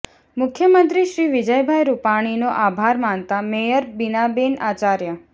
મુખ્યમંત્રી શ્રી વિજયભાઈ રૂપાણીનો આભાર માનતા મેયર બિનાબેન આચાર્ય